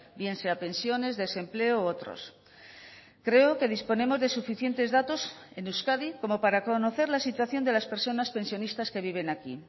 bien sea pensiones desempleo u otros creo que disponemos de suficientes datos en euskadi como para conocer la situación de las personas pensionistas que viven aquí